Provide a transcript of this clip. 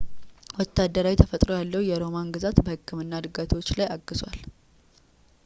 ወታደራዊ ተፈጥሮ ያለው የሮማን ግዛት በሕክምና ዕድገቶች ላይ አግዟል